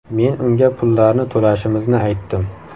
Men unga pullarni to‘lashimizni aytdim.